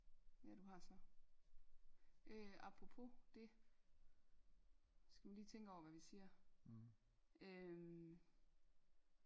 ja du har så øh apropos det skal vi lige tænke over hvad vi siger øhm